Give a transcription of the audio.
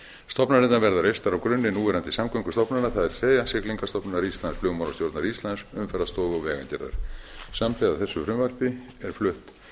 stofnanirnar verða reistar á grunni núverandi samgöngustofnana það er siglingastofnunar íslands flugmálastjórnar íslands umferðarstofu og vegagerðar samhliða þessu frumvarpi er flutt